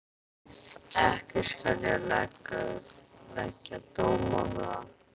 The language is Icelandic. Ekki skal ég leggja dóm á það.